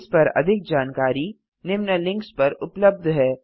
इस पर अधिक जानकारी निम्न लिंक्स पर उपलब्ध है